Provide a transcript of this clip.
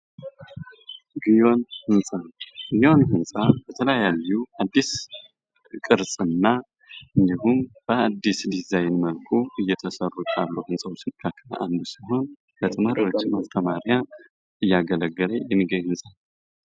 ግዮን ሕንፃ:- ግዮን ሕንፃ በተለያዩ አዲስ ቅርፅ እና እንዲሁም በአዲስ ዲዛይን መልኩ እየተሰሩ ካሉ ሕንፃዎች መካከል አንዱ ሲሆን ለተመራቂ ተማሪዎች እያገለገለ የኒገኝ ሕንፃ ነዉ።